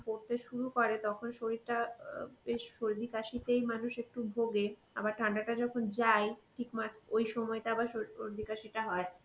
পরতে শুরু করে তখন শরীরটা অ্যাঁ এই সর্দি কাশিতেই মানুষ একটু ভোগে আবার ঠান্ডাটা যখন যায় ঠিক মাঝ ওই সময়টা আবার সোর~ সর্দি কাশিটা হয়.